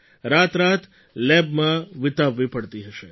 રાતરાત લેબમાં વિતાવવી પડતી હશે